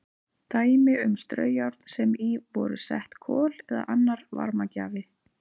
Dæmi um straujárn sem í voru sett kol eða annar varmagjafi.